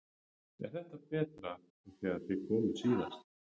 Er þetta betra en þegar þið komuð síðast?